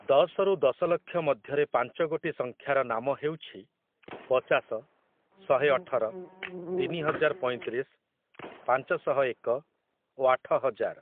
ଦଶରୁ ଦଶଲକ୍ଷ ମଧ୍ୟରେ ପାଞ୍ଚଗୋଟି ସଂଖ୍ୟାର ନାମ ହେଉଛି ପଚାଶ, ଶହେ ଅଠର, ତିନିହଜାର ପଇଁତିରିଶ, ପାଞ୍ଚଶହ ଏକ ଓ ଆଠହଜାର ।